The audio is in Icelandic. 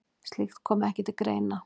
Slíkt komi ekki til greina.